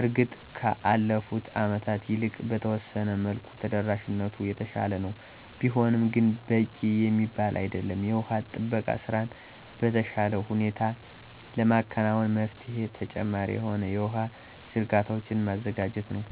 እርግጥ ከአለፉት አመታት ይልቅ በተወሰነ መልኩ ተደራሽነቱ የተሻለ ነው፤ ቢሆንም ግን በቂ የሚባል አይደለም። የውሃ ጥበቃ ስራን በተሻለ ሁኔታ ለማከናወን መፍትሄው ተጨማሪ የሆኑ የውሃ ዝርጋታዎችን ማዘጋጀት ነው።